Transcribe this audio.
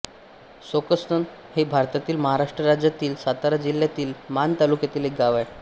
सोकसण हे भारतातील महाराष्ट्र राज्यातील सातारा जिल्ह्यातील माण तालुक्यातील एक गाव आहे